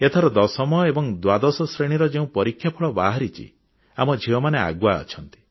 ଏଥର ଦଶମ ଏବଂ ଦ୍ୱାଦଶ ଶ୍ରେଣୀର ଯେଉଁ ପରୀକ୍ଷା ଫଳ ବାହାରିଛି ଆମ ଝିଅମାନେ ଆଗୁଆ ଅଛନ୍ତି